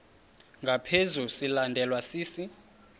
ngaphezu silandelwa sisi